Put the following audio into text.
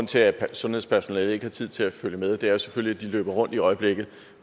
til at sundhedspersonalet ikke har tid til at følge med er selvfølgelig at de løber rundt i øjeblikket